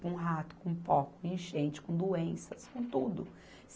Com rato, com pó, com enchente, com doenças, com tudo.